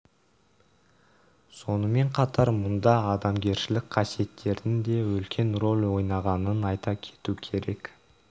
сонымен қатар мұнда адамгершілік қасиеттердің де үлкен рөл ойнағанын айта кету керек